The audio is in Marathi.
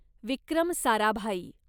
विक्रम साराभाई